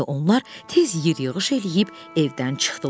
Onlar tez yığış eləyib evdən çıxdılar.